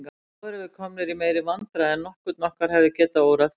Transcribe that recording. Þá erum við komnir í meiri vandræði en nokkurn okkar hefði getað órað fyrir.